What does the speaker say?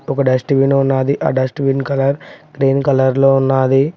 ఒక dust bin ఉన్నాది ఆ dust bin colour green colour లో ఉన్నాది.